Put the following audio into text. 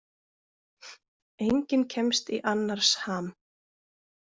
Enginn kemst í annars ham.